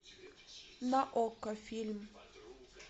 на окко фильм